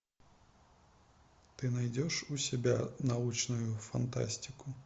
ты найдешь у себя научную фантастику